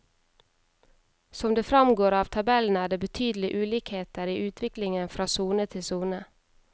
Som det framgår av tabellen er det betydelig ulikheter i utviklingen fra sone til sone.